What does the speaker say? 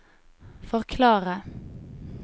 forklare